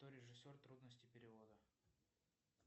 кто режиссер трудности перевода